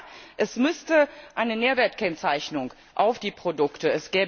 Und ja, es müsste eine Nährwertkennzeichnung auf die Produkte.